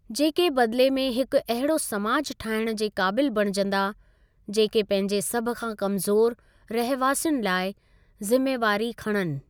जेके बदिले में हिकु अहिड़ो समाज ठाहिण जे काबिल बणिजंदा, जेके पंहिंजे सभ खां कमज़ोर रहवासियुनि लाइ ज़िमेवारी खणनि।